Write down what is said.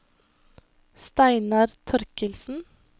Steinar Thorkildsen